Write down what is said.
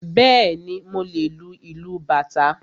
Bẹ́ẹ̀ni, mo lè lu ìlú bàtá